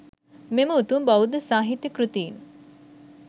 මෙම උතුම් බෞද්ධ සාහිත්‍ය කෘතීන්